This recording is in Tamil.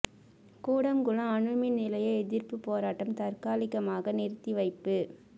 கூடங்குளம் அணு மின் நிலைய எதிர்ப்புப் போராட்டம் தற்காலிகமாக நிறுத்தி வைப்பு